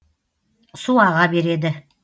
су аға береді